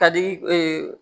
Ka di